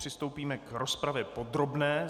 Přistoupíme k rozpravě podrobné.